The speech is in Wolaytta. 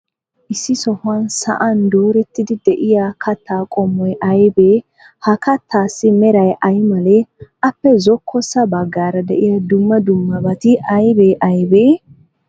Issi sohuwan sa'an doorettidi de'iyaa katta qommoy aybee? Ha kattaassi meray ay malee? Appe zokkossa baggaara de'iya dumma dummabati aybee aybee?